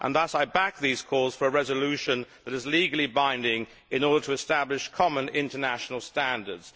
Thus I back these calls for a resolution that is legally binding, in order to establish common international standards.